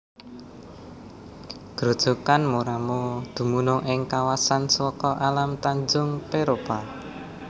Grojogan Moramo dumunung ing kawasan Suaka Alam Tanjung Peropa